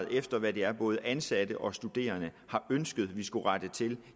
ind efter hvad det er både ansatte og studerende har ønsket vi skulle rette til